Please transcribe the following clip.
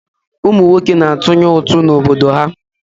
Ụmụ nwoke na-atụnye ụtụ n'obodo ha.